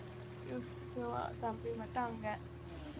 தம்பி மட்டும் அங்க